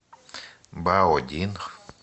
баодин